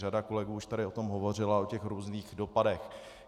Řada kolegů už tady o tom hovořila, o těch různých dopadech.